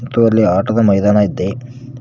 ಮತ್ತು ಅಲ್ಲಿ ಆಟದ ಮೈದಾನ ಇದ್ದೆ.